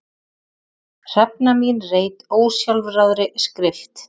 Hrefna mín reit ósjálfráðri skrift.